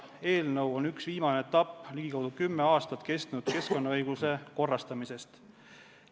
Eelnõu on ligikaudu kümme aastat kestnud keskkonnaõiguse korrastamise üks viimaseid etappe.